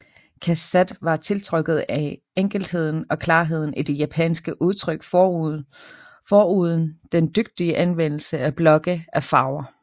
Cassatt var tiltrukket af enkelheden og klarheden i det japanske udtryk foruden den dygtige anvendelse af blokke af farver